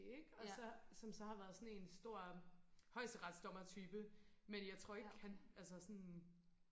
og så som så har været sådan en stor højesterets dommer type men jeg tror ikke han altså sådan